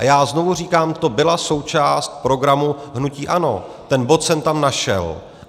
A já znovu říkám, to byla součást programu hnutí ANO, ten bod jsem tam našel.